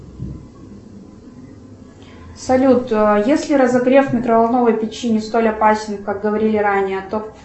салют если разогрев микроволновой печи не столь опасен как говорили ранее то